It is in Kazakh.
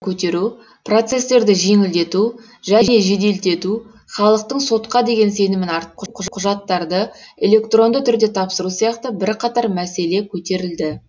көтеру процестерді жеңілдету және жеделдету халықтың сотқа деген сенімін арттыру құжаттарды электронды түрде тапсыру сияқты бірқатар мәселе көтерілді